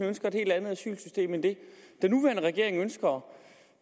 ønsker et helt andet asylsystem end det den nuværende regering ønsker